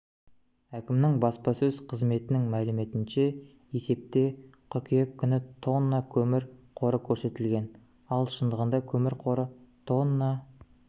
әкімнің баспасөз қызметінің мәліметінше есепте қыркүйек күні тонна көмір қоры көрсетілген ал шындығында көмір қоры тонна